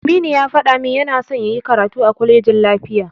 Aminu ya faɗa min yana son yayi karatu a kwalejin lafiya.